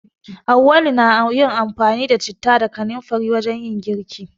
Auwalu na yin amfani da citta da kanamfari wajen yin girki.